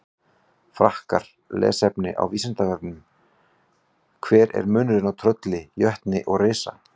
Frekara lesefni á Vísindavefnum: Hver er munurinn á trölli, jötni og risa?